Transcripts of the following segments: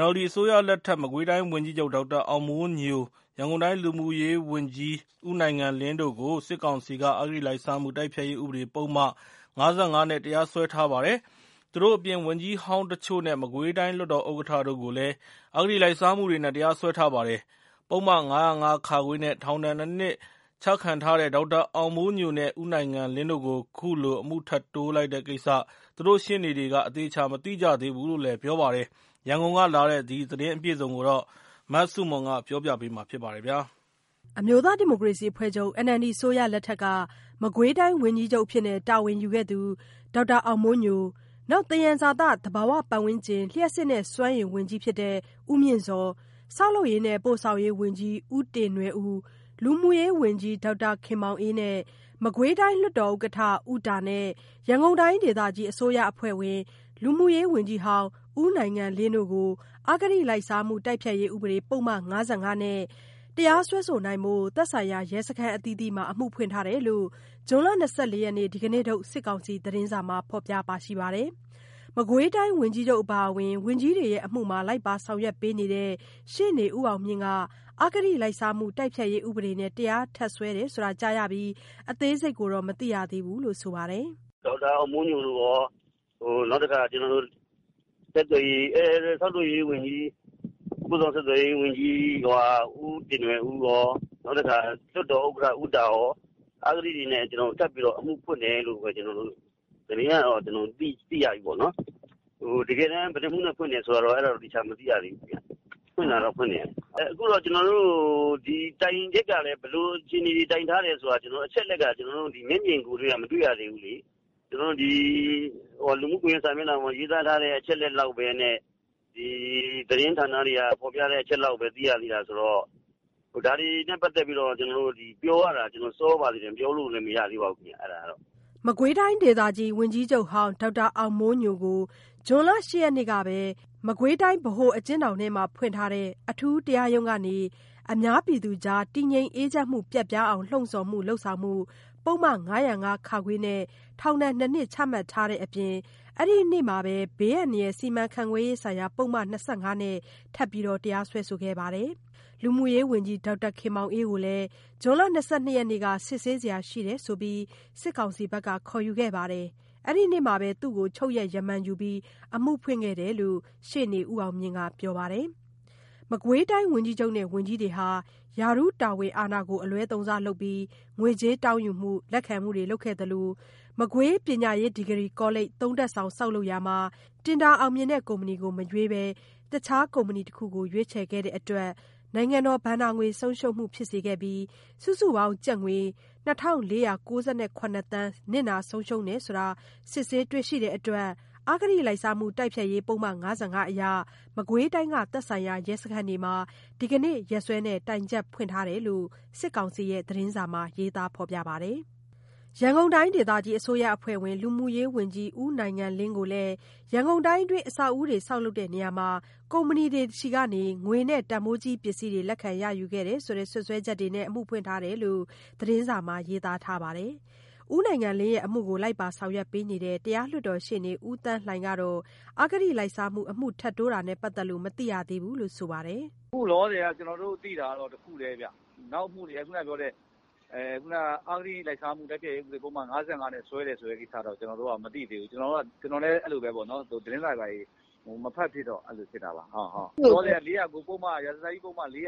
NLD အစိုးရလက်ထက်က မကွေးတိုင်းဝန်ကြီးချုပ် ဒေါက်တာအောင်မိုးညို၊ ရန်ကုန်တိုင်း လူမှုရေးဝန်ကြီး ဦးနိုင်ငံလင်းတို့ကို စစ်ကောင်စီက အဂတိလိုက်စားမှု တိုက်ဖျက်ရေးဥပဒေပုဒ်မ ၅၅ နဲ့ တရားစွဲထားပါတယ်။ သူတို့အပြင် ဝန်ကြီးဟောင်းတချို့နဲ့ မကွေးတိုင်းလွတ်တော်ဥက္ကဋ္ဌတို့ကိုလည်း အဂတိလိုက်စားမှုတွေနဲ့ တရားစွဲထားပါတယ်။ ပုဒ်မ ၅၀၅ (ခ) နဲ့ ထောင်ဒဏ် ၂ နှစ် ချခံထားရတဲ့ ဒေါက်တာအောင်မိုးညိုနဲ့ ဦးနိုင်ငံလင်းတို့ကို ခုလို အမှုထပ်တိုးလိုက်တဲ့ကိစ္စ သူတို့ရှေ့နေတွေက အသေအချာ မသိကြသေးဘူးလို့ ပြောပါတယ်။ ရန်ကုန်ကလာတဲ့ ဒီသတင်းအပြည့်အစုံကို မဆုမွန်က ပြောပြပါမယ်။ NLD အစိုးရလက်ထက်က မကွေးတိုင်းဝန်ကြီးချုပ် တာဝန်ယူခဲ့သူ ဒေါက်တာအောင်မိုးညို၊ သယံဇာတ၊ သဘာဝပါတ်ဝန်းကျင်၊ လျှပ်စစ်နဲ့ စွမ်းအင်ဝန်ကြီး ဦးမြင့်ဇော်၊ ဆောက်လုပ်ရေးနဲ့ ပို့ဆောင်ရေးဝန်ကြီး ဦးတင်နွယ်ဦး၊ လူမှုရေးဝန်ကြီး ဒေါက်တာခင်မောင်အေး၊ မကွေးတိုင်း လွှတ်တော်ဥက္ကဋ္ဌ ဦးတာနဲ့ ရန်ကုန်တိုင်းဒေသကြီး အစိုးရအဖွဲ့ဝင် လူမှုရေးဝန်ကြီးဟောင်း ဦးနိုင်ငံလင်းတို့ကို အဂတိလိုက်စားမှု တိုက်ဖျက်ရေး ဥပဒေပုဒ်မ ၅၅ နဲ့ တရားစွဲဆိုနိုင်ဖို့ သက်ဆိုင်ရာ ရဲစခန်းအသီးသီးမှာ အမှုဖွင့်ထားတယ်လို့ ဇွန်လ ၂၄ ရက် ဒီကနေ့ထုတ် စစ်ကောင်စီသတင်းစာမှာ ဖော်ပြထားပါတယ်။ မကွေးတိုင်းဝန်ကြီးချုပ် အပါအဝင် ဝန်ကြီးတွေရဲ့အမှုမှာ လိုက်ပါဆောင်ရွက်နေတဲ့ ရှေ့နေ ဦးအောင်မြင့်က အဂတိလိုက်စားမှု တိုက်ဖျက်ရေးဥပဒေနဲ့ တရားထပ်စွဲတယ်ဆိုတာ ကြားရပြီး အသေးစိတ်ကိုတော့ မသိရသေးဘူးလို့ ပြောပါတယ်။ “ဒေါက်တာအောင်မိုးညိုတို့ကော၊ နောက်တခါ ဆောက်လုပ်ရေးနဲ့ ပို့ဆောင်ဆက်သွယ်ရေးဝန်ကြီး ဦးတင်နွယ်ဦးရော၊ နောက်တခါ လွှတ်တော်ဥက္ကဋ္ဌ ဦးတာရော၊ အဂတိတွေနဲ့ ဆက်ပြီးတော့ အမှုဖွင့်တယ်လို့ပဲ ကျနော်တို့ သတင်းကတော့ သိရပြီပေါ့နော်။ တကယ်တမ်း ဘယ်နှစ်မှုနဲ့ ဖွင့်တယ်ဆိုတာတော့ သေချာ မသိရသေးဘူးခင်ဗျ။ ဖွင့်တာတော့ ဖွင့်တယ်။ အခုတော့ ကျနော်တို့ တိုင်ချက်ကလည်း ဘယ်လို အခြေအနေတွေ ဘယ်လိုတိုင်ထားတယ်ဆိုတာမျိုး မျက်မြင်ကိုယ်တွေ့က မတွေ့ရသေးဘူးလေ။ ကျနော်တို့ လူမှုကွန်ယက် စာမျက်နှာပေါ်မှာ ရေးသားထားတဲ့ အချက်အလက်လောက်နဲ့ သတင်းဌာနတွေက ဖော်ပြသေးတဲ့ အချက်လောက်ပဲ ကျနော်တို့ သိရသေးတာဆိုတော့ ဒါတွေနဲ့ပတ်သက်လို့ ပြောဖို့ကလည်း စောပါသေးတယ်ဗျ။” မကွေးတိုင်းဒေသကြီး ဝန်ကြီးချုပ်ဟောင်း ဒေါက်တာအောင်မိုးညိုကို ဇွန် ၈ ရက်နေ့ကပဲ မကွေး၊ ဗဟိုအကျဉ်းထောင်ထဲမှာဖွင့်ထားတဲ့ အထူးတရားရုံးကနေ အများပြည်သူကြား တည်ငြိမ်အေးချမ်းမှု ပျက်ပြားအောင် လှုံ့ဆော်မှု/လုပ်ဆောင်မှု ပုဒ်မ ၅၀၅ (ခ) နဲ့ ထောင်ဒဏ် နှစ်နှစ် ချမှတ်တဲ့အပြင် အဲဒီနေ့မှာပဲ ဘေးအန္တရာယ်စီမံခန့်ခွဲရေးဆိုင်ရာ ပုဒ်မ ၂၅ နဲ့ ထပ်ပြီးတရားစွဲခဲ့ပါတယ်။ လူမှုရေးဝန်ကြီး ဒေါက်တာခင်မောင်အေးကို ဇွန် ၂၂ ရက်နေ့က စစ်ဆေးစရာရှိတယ်ဆိုပြီး စစ်ကောင်စီက ခေါ်ယူခဲ့ပါတယ်။ အဲ့ဒီနေ့မှာပဲ သူ့ကို ချုပ်ရက် ရမာန်ယူပြီး အမှုဖွင့်ခဲ့တာဖြစ်တယ်လို့ ရှေ့နေ ဦးအောင်မြင့်က ပြောပြပါတယ်။ မကွေးတိုင်း ဝန်ကြီးချုပ်နဲ့ ဝန်ကြီးတွေဟာ ရာထူးတာဝန်တွေကို အလွဲသုံးစားလုပ်ပြီး ငွေကြေးတောင်းယူမှု၊ လက်ခံမှုတွေ လုပ်ခဲ့သလို မကွေး ပညာရေးဒီဂရီကောလိပ် ၃ ထပ်ဆောင် ဆောက်လုပ်ရာမှာ တင်ဒါအောင်မြင်တဲ့ကုမ္ပဏီကို မရွေးဘဲ တခြားကုမ္ပဏီတစ်ခုကို ရွေးချယ်ခဲ့တဲ့အတွက် နိုင်ငံတော်ဘဏ္ဍာငွေ ဆုံးရှုံးမှုတွေ ဖြစ်စေခဲ့ပြီး စုစုပေါင်း ကျပ်ငွေ ၂,၄၉၇ သန်း နစ်နာဆုံးရှုံးတယ်လို့ စစ်ဆေးတွေ့ရှိရတဲ့အတွက် အဂတိလိုက်စားမှုတိုက်ဖျက်ရေး ဥပဒေပုဒ်မ ၅၅ အရ မကွေးတိုင်းက သက်ဆိုင်ရာ ရဲစခန်းတွေမှာ ဒီကနေ့ရက်စွဲနဲ့ တိုင်ချက်ဖွင့်ထားတယ်လို့ စစ်ကောင်စီရဲ့ သတင်းစာမှာ ရေးသားထားပါတယ်။ ရန်ကုန်တိုင်းဒေသကြီး အစိုးရအဖွဲ့ဝင် လူမှုရေးဝန်ကြီး ဦးနိုင်ငံလင်းကိုလည်း ရန်ကုန်တိုင်းအတွင်း အဆောက်အဦးတွေ ဆောက်လုပ်ရာမှာ ကုမ္ပဏီတွေဆီကနေ ငွေနဲ့ တန်ဖိုးကြီးပစ္စည်းတွေ လက်ခံရယူခဲ့တယ်ဆိုတဲ့ စွပ်စွဲချက်တွေကြောင့် အမှုဖွင့်ထားတယ်လို့ သတင်းစာမှာ ရေးသားထားပါတယ်။ ဦးနိုင်ငံလင်းအမှုကို လိုက်ပါဆောင်ရွက်ပေးနေတဲ့ တရားလွတ်တော်ရှေ့နေ ဦးသန်းလှိုင်ကတော့ အဂတိလိုက်စားမှု အမှုထပ်တိုးတာနဲ့ပတ်သက်လို့ မသိသေးဘူးလို့ ဆိုပါတယ်။ “အခုလောလောဆယ် ကျနော်တို့ သိတာကတော့ တခုတည်းဗျ။ နောက်အမှုတွေ ခုနကပြောတဲ့ အဂတိလိုက်စားမှု တိုက်ဖျက်ရေးဥပဒေပုဒ်မနဲ့ စွဲတယ်ဆိုတာကတော့ ကျနော်တို့ မသိသေးဘူး။ ကျနော်လည်း သတင်းစာတွေ ဘာတွေ မဖတ်ဖြစ်တော့ မသိတာပါ။ လောလောဆယ် ရာဇသတ်ကြီး ပုဒ်မ ၄၀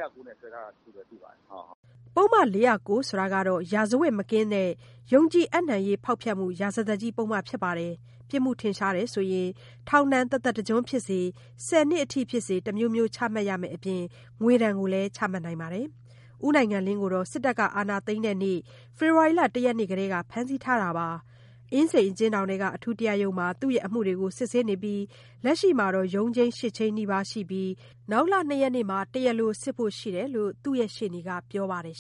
၉ နဲ့ စွဲထားတာကိုပဲ သိပါတယ်။” ပုဒ်မ ၄၀၉ ဆိုတာကတော့ ရာဇဝတ်မကင်းသော ယုံကြည်အပ်နှံရေး ဖေါက်ဖျက်မှု ရာဇသတ်ကြီး ပုဒ်မဖြစ်ပါတယ်။ ပြစ်မှုထင်ရှားရင် ထောင်ဒဏ် တသက်တကျွန်း ဖြစ်စေ၊ ဆယ်နှစ်ထိဖြစ်စေ တမျိုးမျိုး ချမှတ်ရမည့်ပြင် ငွေဒဏ်လည်းချမှတ်နိုင်ပါတယ်။ ဦးနိုင်ငံလင်းကို စစ်တပ်ကအာဏာသိမ်းတဲ့ နေ့ကတည်းက ဖမ်းဆီးထားတာပါ။ အင်းစိန် အကျဉ်းထောင်ထဲက အထူးတရားရုံးမှာ သူ့အမှုတွေကို စစ်ဆေးနေတာဖြစ်ပြီး လက်ရှိမှာ ရုံးချိန်း ၈ ချိန်းနီးပါးရှိနေပြီး နောက်လ ၂ ရက်နေ့မှာ တရားလိုစစ်ဖို့ရှိတယ်လို့ သူ့ရဲ့ ရှေ့နေက ပြောပါတယ်